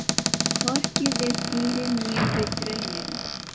Hann lítur snöggt í kringum sig í leit að fylgsni.